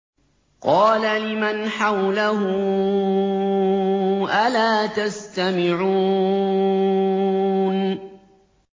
قَالَ لِمَنْ حَوْلَهُ أَلَا تَسْتَمِعُونَ